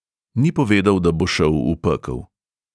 Ni povedal, da bo šel v pekel.